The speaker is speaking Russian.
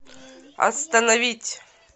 остановить